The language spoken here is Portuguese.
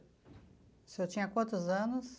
O senhor tinha quantos anos?